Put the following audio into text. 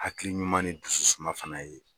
Hakili ɲuman ni dususuma fana ye